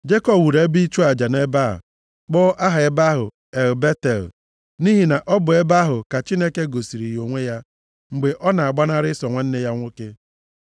Jekọb wuru ebe ịchụ aja nʼebe a, kpọọ aha ebe ahụ El Betel, nʼihi na ọ bụ nʼebe ahụ ka Chineke gosiri ya onwe ya mgbe ọ na-agbanarị Ịsọ nwanne ya nwoke.